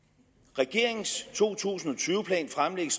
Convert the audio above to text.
regeringens to tusind og tyve plan fremlægges